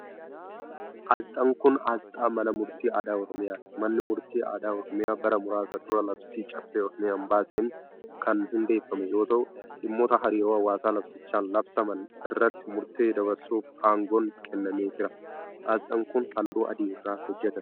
Asxaan kun, asxaa mana murtii aadaa Oromiyaati. Manni murtii aadaa Oromiyaa bara muraasa dura labsii caffee Oromiyaan baaseen kan hundeeffame yoo tau, dhimmoota hariiroo hawaasaa labsichaan labsaman irratti murtee dabarsuuf aangoon kennameefiira. Asxaan kun, haalluu adii irraa hojjatame.